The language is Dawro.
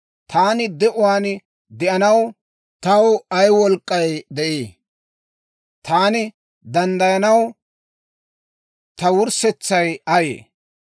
Taani de'uwaan de'anaw taw ay wolk'k'ay de'ii? Taani danddayanaw, ta wurssetsay ayee?